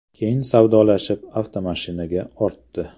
Keyin savdolashib, avtomashinaga ortdi.